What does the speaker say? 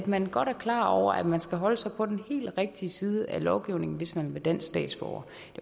man er godt klar over at man skal holde sig på den helt rigtige side af loven hvis man vil være dansk statsborger